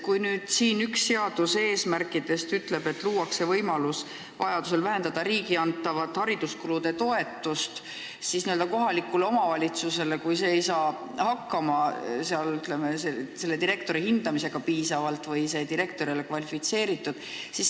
Üks eelnõu eesmärk on luua võimalus vähendada vajaduse korral omavalitsusele riigi antavat hariduskulude toetust direktorite töötasuks, kui omavalitsus ei saa mõne direktori töö hindamisega piisavalt hästi hakkama ja mõni direktor ei ole küllalt kvalifitseeritud.